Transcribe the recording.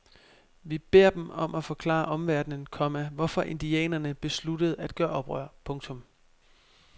Vi beder dem om at forklare omverdenen, komma hvorfor indianerne besluttede at gøre oprør. punktum